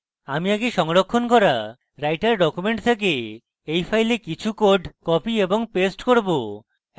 আমি আগে সংরক্ষণ করা writer document থেকে এই file কিছু code copy এবং paste করব